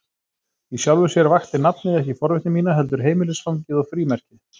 Í sjálfu sér vakti nafnið ekki forvitni mína, heldur heimilisfangið og frímerkið.